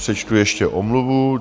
Přečtu ještě omluvu.